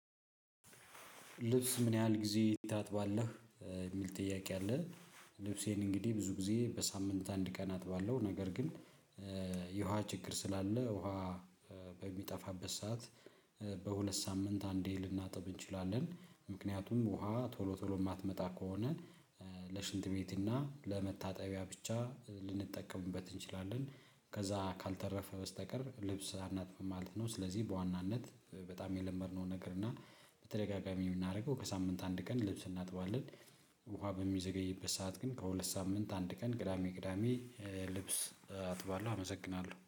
ልብስ ምን ያህል ጊዜ ታጥባለህ የሚል ጥያቄ አለ? ልብሴን እንግዲህ ብዙ ጊዜ በሳምንት አንድ ቀን አጥባለው። ነገር ግን የውሃ ችግር ስላለ ውሃ በሚጠፋበት ሰዓት። በሁለት ሳምንት አንዴ ልናጥብ እንችላለን። ምክንያቱም ውሃ ቶሎ ቶሎ የማትመጣ ከሆነ ለሽንት ቤት እና ለመታጠቢያ ብቻ ልንጠቀምበት እንችላለን። ከዛ ካልተረፈ በስተቀር ልብስ አናጥብም ማለት ነው። ስለዚህ በዋናነት በጣም የለመድነው ነገር እና በተደጋጋሚ የምናደርገው በሳምንት አንድ ቀን ልብስ እናጥባለን። ውሃ በሚዘገይበት ሰዓት ግን ከሁለት ሳምንት አንድ ቀን ቅዳሜ ቅዳሜ ልብስ አጥባለሁ። አመሰግናለሁ